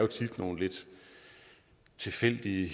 tilfældige